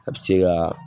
A bɛ se ka